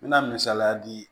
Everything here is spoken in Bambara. N mɛna misaliya di